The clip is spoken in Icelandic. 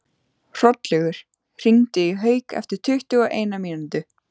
Hrollaugur, hringdu í Hauk eftir tuttugu og eina mínútur.